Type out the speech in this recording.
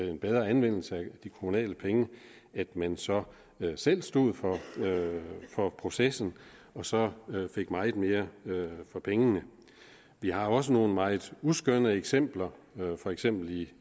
en bedre anvendelse af de kommunale penge at man så selv stod for for processen og så fik meget mere for pengene vi har også nogle meget uskønne eksempler for eksempel